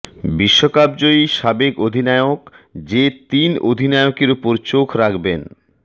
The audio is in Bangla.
বিশ্বকাপজয়ী সাবেক অধিনায়ক যে তিন অধিনায়কের ওপর চোখ রাখবেন